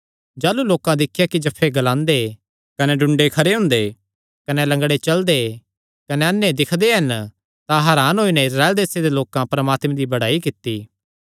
जाह़लू लोकां दिख्या कि जफ्फे ग्लांदे कने टुंडे ठीक हुंदे कने लंगड़े चलदे कने अन्ने दिक्खदे हन तां हरान होई नैं इस्राएल देसे दे परमात्मे दी बड़ेयाई कित्ती